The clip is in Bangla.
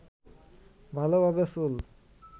ভালোভাবে চুল